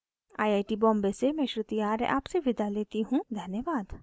I I T Bombay से मैं श्रुति आर्य आपसे विदा लेती हूँ हमसे जुड़ने के लिए धन्यवाद